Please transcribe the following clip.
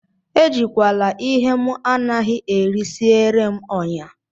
Ejila ihe m anaghị eri siere m ọnyá!